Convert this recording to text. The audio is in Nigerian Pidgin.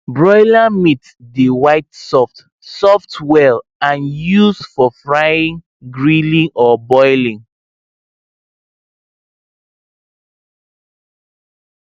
broiler meat dey white soft soft well and used for frying grilling or boiling